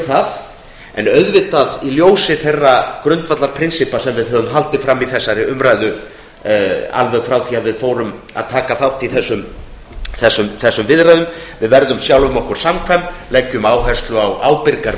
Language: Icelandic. það en í ljósi þeirra grundvallarprinsippa sem við höfum haldið fram í þessari umræðu alveg frá því að við fórum að taka þátt í þessum viðræðum verðum við sjálfum okkur samkvæm leggjum áherslu á ábyrgar